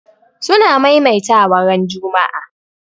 suna maimaita wa ran Juma'a